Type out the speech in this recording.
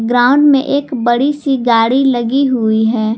Ground में एक बड़ी सी गाड़ी लगी हुई है।